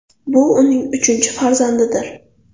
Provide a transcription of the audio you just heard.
Bu uning uchinchi farzandidir.